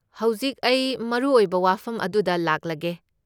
ꯍꯧꯖꯤꯛ ꯑꯩ ꯃꯔꯨꯑꯣꯏꯕ ꯋꯥꯐꯝ ꯑꯗꯨꯗ ꯂꯥꯛꯂꯒꯦ꯫